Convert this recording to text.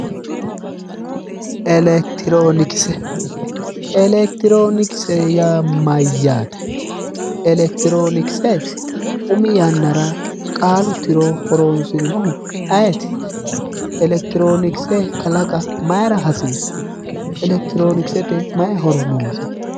Elekitiroonikise elekitiroonikise yaa mayyaate elekitiroonikise umi yannara qaalu tiro horoonsirinohu ayeeti elekitiroonikise kalaqa mayira hasiissu elekitiroonikisete mayi horo noose